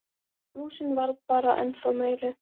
Blúsinn varð bara ennþá meiri.